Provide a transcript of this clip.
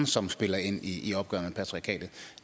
som spiller ind i opgøret med patriarkatet